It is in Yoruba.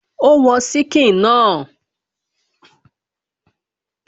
Ó wọn síkìn náà